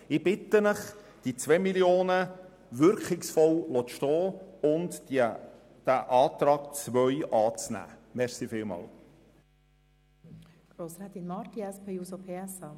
Ich bitte Sie, die 2 Mio. Franken wirkungsvoll stehen zu lassen und den Antrag 2 anzunehmen.